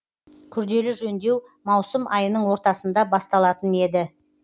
күрделі жөндеу маусым айының ортасында басталатын еді